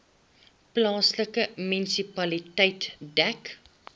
plaaslike munisipaliteit dek